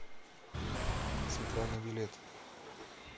центральный билет